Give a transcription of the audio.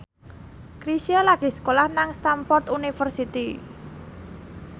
Chrisye lagi sekolah nang Stamford University